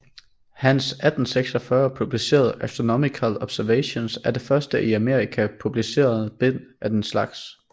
Hans 1846 publicerede Astronomical Observations er det første i Amerika publicerede bind af denne slags